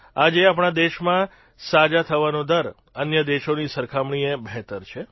આજે આપણા દેશમાં સાજા થવાનો દર અન્ય દેશોની સરખામણીએ બહેતર છે